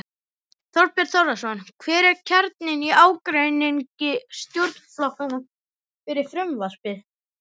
Þorbjörn Þórðarson: Hver er kjarninn í ágreiningi stjórnarflokkanna um frumvarpið?